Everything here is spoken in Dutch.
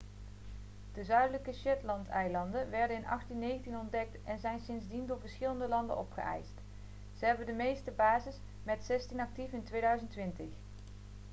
de zuidelijke shetlandeilanden werden in 1819 ontdekt en zijn sindsdien door verschillende landen opgeëist ze hebben de meeste bases met zestien actief in 2020